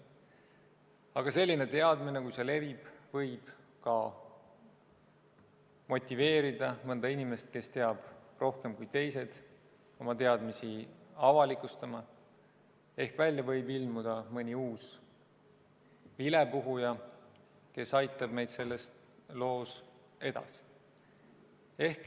Aga selline teadmine, kui see levib, võib ka motiveerida mõnda inimest, kes teab rohkem kui teised, oma teadmisi avalikustama, ehk välja võib ilmuda mõni uus vilepuhuja, kes aitab meid selles loos edasi.